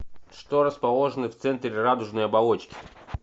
что расположено в центре радужной оболочки